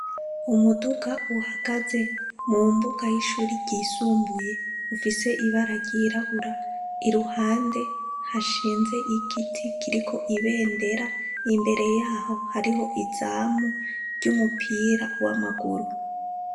Umuduga uhagaze mu mbuga y'ishure ryisumbuye, ufise ibara ryirabura. Iruhande hashinze igiti kiriko ibendera, imbere yaho hariho izamu ry'umupira w'amaguru.